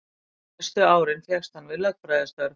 Næstu árin fékkst hann við lögfræðistörf.